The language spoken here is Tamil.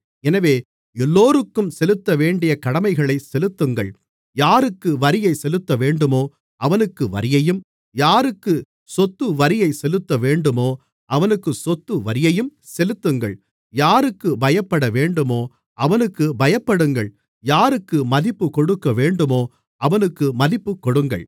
எனவே எல்லோருக்கும் செலுத்தவேண்டிய கடமைகளைச் செலுத்துங்கள் யாருக்கு வரியைச் செலுத்தவேண்டுமோ அவனுக்கு வரியையும் யாருக்கு சொத்துவரியைச் செலுத்தவேண்டுமோ அவனுக்கு சொத்துவரியையும் செலுத்துங்கள் யாருக்குப் பயப்படவேண்டுமோ அவனுக்குப் பயப்படுங்கள் யாருக்கு மதிப்புக் கொடுக்கவேண்டுமோ அவனுக்கு மதிப்புக் கொடுங்கள்